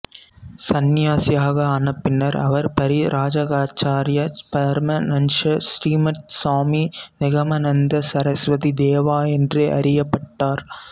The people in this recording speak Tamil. சந்நியாசியாக ஆன பின்னர் அவர் பரிப்ராஜகாச்சார்ய பரமஹன்ச ஸ்ரீமத் சுவாமி நிகமநந்த சரஸ்வதி தேவா என்று அறியப்பட்டார்